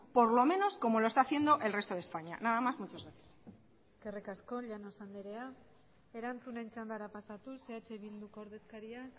por lo menos como lo está haciendo el resto de españa nada más muchas gracias eskerrik asko llanos andrea erantzunen txandara pasatuz eh bilduko ordezkaria